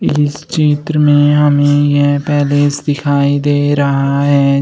इस चित्र में हमें यह पैलेस दिखाई दे रहा है।